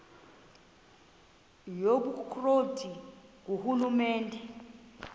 yobukro ti ngurhulumente